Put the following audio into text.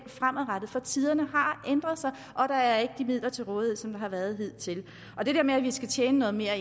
fremadrettet for tiderne har ændret sig og der er ikke de midler til rådighed som der har været hidtil det der med at vi skal tjene noget mere